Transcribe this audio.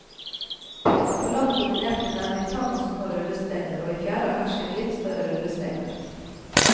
På land dominerte nemlig tang og små rullesteiner, og i fjæra hersket litt større rullesteiner.